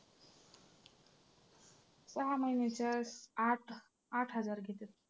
सहा महिन्याचे आठ आठ हजार घेतात.